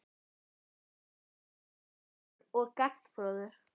Hann er mjög gáfaður og gagnfróður.